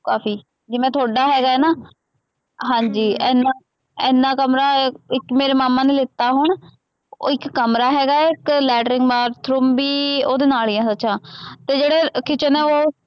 ਕਾਫੀ ਜਿਵੇਂ ਤੁਹਾਡਾ ਹੈਗਾ ਨਾ, ਹਾਂਜੀ ਐਨਾ ਐਨਾ ਕਮਰਾ ਅਹ ਇੱਕ ਮੇਰੇ ਮਾਮਾ ਨੇ ਲੀਤਾ ਹੁਣ, ਉਹ ਇੱਕ ਕਮਰਾ ਹੈਗਾ ਹੈ, ਇੱਕ ਲੈਟਰੀਨ, bathroom ਵੀ ਉਹਦੇ ਨਾਲ ਹੀ ਹੈ ਸੱਚ ਹਾਂ, ਅਤੇ ਜਿਹੜੇ kitchen ਹੈ ਉਹ